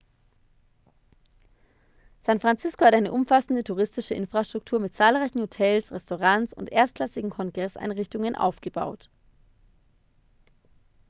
san francisco hat eine umfassende touristische infrastruktur mit zahlreichen hotels restaurants und erstklassigen kongresseinrichtungen aufgebaut